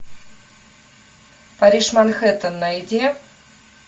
париж манхэттен найди